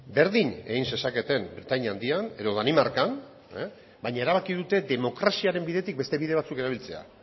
berdin egin zezaketen britainia handian edo danimarkan baina erabaki dute demokraziaren bidetik beste bide batzuk erabiltzea